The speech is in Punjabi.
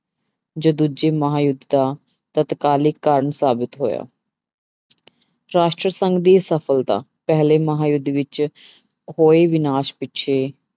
ਜੋ ਦੂਜੇ ਮਹਾਂਯੁੱਧ ਦਾ ਤਤਕਾਲੀ ਕਾਰਨ ਸਾਬਿਤ ਹੋਇਆ ਰਾਸ਼ਟਰੀ ਸੰਘ ਦੀ ਸਫ਼ਲਤਾ ਪਹਿਲੇ ਮਹਾਂਯੁੱਧ ਵਿੱਚ ਹੋਏ ਵਿਨਾਸ਼ ਪਿੱਛੇ